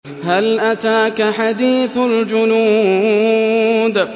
هَلْ أَتَاكَ حَدِيثُ الْجُنُودِ